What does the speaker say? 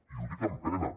i ho dic amb pena